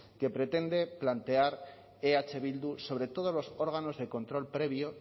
que pretende plantear eh bildu sobre todos los órganos de control previo